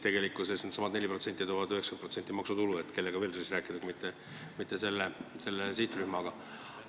Tegelikkuses needsamad 4% toovad 90% maksutulu ja kellega siis veel rääkida kui mitte selle sihtrühmaga.